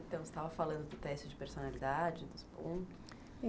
Então, você estava falando do teste de personalidade, dos pontos?